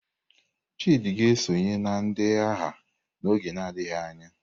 Chidi ga-esonye na ndị agha n'oge adịghị anya.